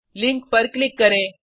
link पर click करें